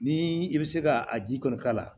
Ni i bɛ se ka a ji kɔni k'a la